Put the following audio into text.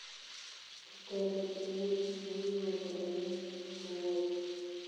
Kitebe tebut nikikoromit kowol